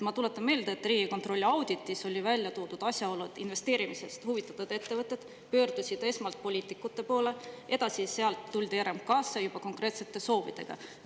Ma tuletan meelde, et Riigikontrolli auditis oli välja toodud asjaolu, et investeerimisest huvitatud ettevõtted pöördusid esmalt poliitikute poole ja edasi tuldi sealt RMK‑sse juba konkreetsete soovidega.